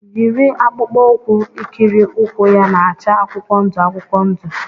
Yiri akpụkpọ ụkwụ ikiri ụkwụ ya na-acha akwụkwọ ndụ akwụkwọ ndụ!